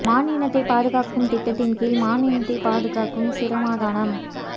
மான் இனத்தை பாதுகாக்கும் திட்டத்தின் கீழ் மான் இனத்தை பாதுகாக்கும் சிரமதானம்